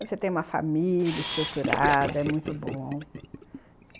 Você tem uma família estruturada, é muito bom.